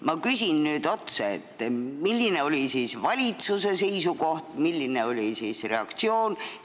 Ma küsin nüüd otse, milline oli valitsuse seisukoht, milline oli reaktsioon.